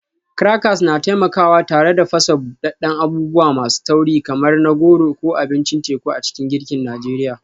Crackers na taimakawa tare da fasa buɗaɗɗen abubuwa masu tauri kamar na goro ko abincin teku a cikin girkin Najeriya.